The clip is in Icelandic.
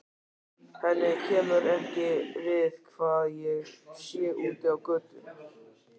Henni kemur ekki við hvað ég sé úti á götu.